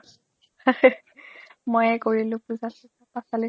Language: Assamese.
মইয়ে কৰিলো পূজা চুজা